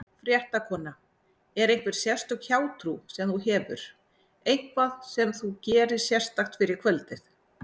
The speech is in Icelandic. Fréttakona: Er einhver sérstök hjátrú sem þú hefur, eitthvað sem þú gerir sérstakt fyrir kvöldið?